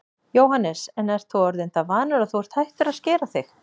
Jóhannes: En þú ert orðinn það vanur að þú ert hættur að skera þig?